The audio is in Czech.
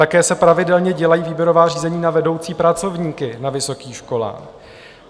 Také se pravidelně dělají výběrová řízení na vedoucí pracovníky na vysokých školách.